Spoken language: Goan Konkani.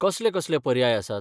कसले कसले पर्याय आसात?